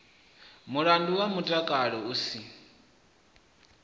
mulandu wa mutakalo u si